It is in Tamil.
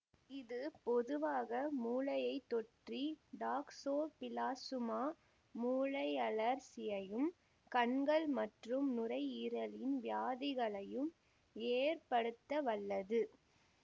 இது பொதுவாக மூளையைத் தொற்றி டாக்சோபிளாசுமா மூளையழற்சியையும் கண்கள் மற்றும் நுரையீரலின் வியாதிகளையும் ஏற்படுத்தவல்லது